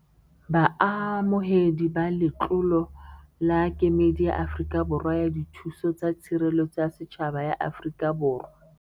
Baamohedi ba letlolo la Kemedi ya Afrika Borwa ya Dithuso tsa Tshireletso ya Setjhaba ya Afrika Borwa.